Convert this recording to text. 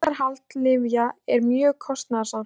Birgðahald lyfja er mjög kostnaðarsamt.